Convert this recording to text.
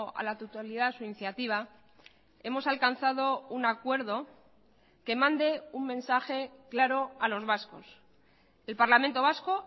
a la totalidad su iniciativa hemos alcanzado un acuerdo que mande un mensaje claro a los vascos el parlamento vasco